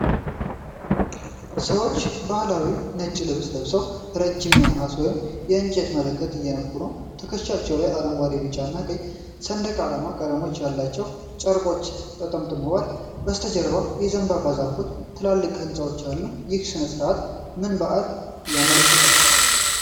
ሰዎች ባህላዊ ነጭ ልብስ ለብሰው ረዥም የነሐስ ወይም የእንጨት መለከት እየነፉ ነው። ትከሻቸው ላይ የአረንጓዴ፣ ቢጫና ቀይ ሰንደቅ ዓላማ ቀለሞች ያለባቸው ጨርቆች ተጠምጥመዋል። ከበስተጀ የዘንባባ ዛፎችና ትልልቅ ሕንፃዎች አሉ። ይህ ሥነ ሥርዓት ምን በዓልን ያመለክታል?